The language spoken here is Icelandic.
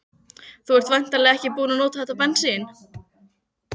Þú ert væntanlega ekki búinn að nota þetta bensín?